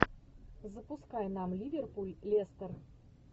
запускай нам ливерпуль лестер